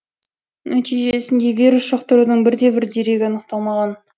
нәтижесінде вирус жұқтырудың бірде бір дерегі анықталмаған